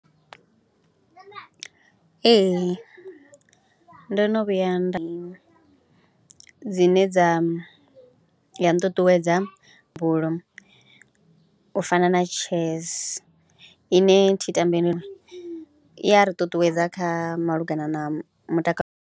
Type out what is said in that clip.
Ee ndo no vhuya nda dzine dza ya nṱuṱuwedza u fana na chess ine thi tambi i ya ri ṱuṱuwedza kha malugana na mutakalo.